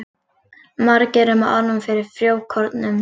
Margir eru með ofnæmi fyrir frjókornum.